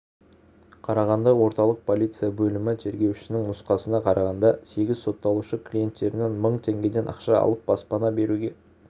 қарағанды орталық полиция бөлімі тергеушісінің нұсқасына қарағанда сегіз сотталушы клиенттерінен мың теңгеден ақша алып баспана беруге